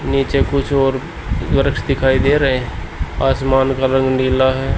नीचे कुछ और वृक्ष दिखाई दे रहे हैं आसमान का रंग नीला है।